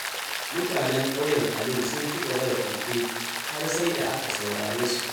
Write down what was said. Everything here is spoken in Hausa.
Mutanen Kauyen Alu sun ci gaba da koke, har sai da aka saurare su.